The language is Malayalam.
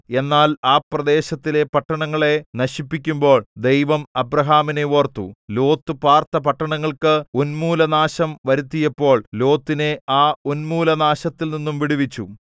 എന്നാൽ ആ പ്രദേശത്തിലെ പട്ടണങ്ങളെ നശിപ്പിക്കുമ്പോൾ ദൈവം അബ്രാഹാമിനെ ഓർത്തു ലോത്ത് പാർത്ത പട്ടണങ്ങൾക്ക് ഉന്മൂലനാശം വരുത്തിയപ്പോൾ ലോത്തിനെ ആ ഉന്മൂലനാശത്തിൽനിന്നു വിടുവിച്ചു